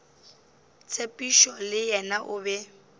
tshepišo le yena o be